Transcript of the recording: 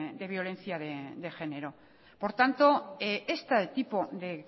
de violencia de género por tanto este tipo de